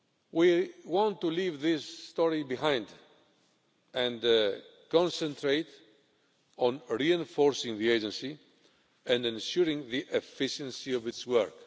We want to leave this story behind and concentrate on reinforcing the agency and ensuring the efficiency of its work.